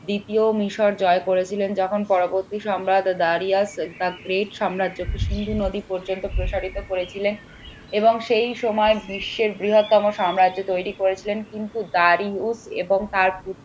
দ্বিতীয় মিশর জয় করেছিলেন যখন পরবর্তী সম্রাট সম্রাট যখন সিন্ধু নদী পর্যন্ত প্রসারিত করেছিলেন এবং সেই সময় বিশ্বের বৃহত্তম সাম্রাজ্য তৈরি করেছিলেন কিন্তু এবং তার পুত্র